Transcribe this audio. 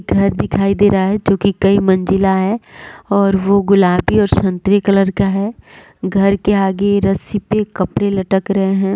घर दिखाई दे रहा है जो कि कई मंजिला है और वो गुलाबी और संतरे कलर का है घर के आगे रस्सी पे कपड़े लटक रहे हैं।